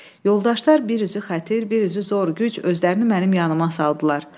Yoldaşlar bir üzü xətir, bir üzü zor güc özlərini mənim yanımdan saldılar.